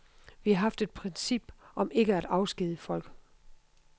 Vi har haft et princip om ikke at afskedige folk.